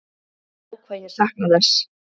Ó hvað ég sakna þess.